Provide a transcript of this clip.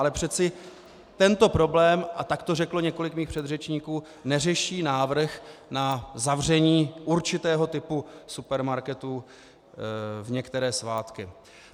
Ale přeci tento problém, a tak to řeklo několik mých předřečníků, neřeší návrh na zavření určitého typu supermarketu v některé svátky.